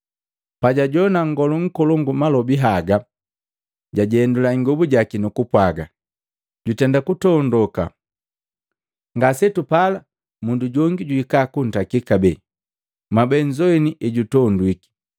Pajajowana Nngolu nkolongu malobi haga jajendula ingobu jaki nukupwaga, “Jutenda kutondoka. Ngasetupala mundu jongi juhika kuntakila kabee? Mwabee nzowini ejutondwiki.